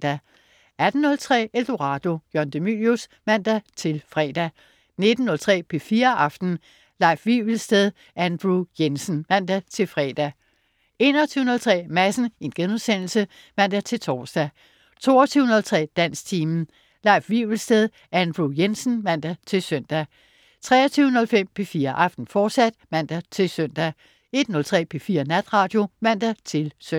18.03 Eldorado. Jørgen de Mylius (man-fre) 19.03 P4 Aften. Leif Wivelsted/Andrew Jensen (man-fre) 21.03 Madsen* (man-tors) 22.03 Dansktimen. Leif Wivelsted/Andrew Jensen (man-søn) 23.05 P4 Aften, fortsat (man-søn) 01.03 P4 Natradio (man-søn)